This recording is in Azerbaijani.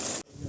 Qoy.